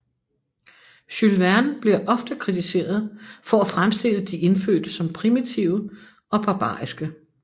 Jules Verne bliver ofte kritiseret for at fremstille de indfødte som primitive og barbariske